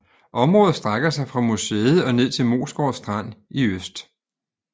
Området strækker sig fra museet og ned til Moesgård Strand i øst